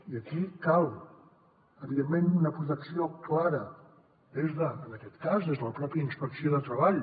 i aquí cal evidentment una protecció clara des de en aquest cas la pròpia inspecció de treball